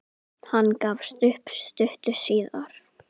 Hann gafst upp stuttu síðar.